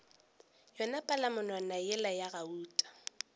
yona palamonwana yela ya gauta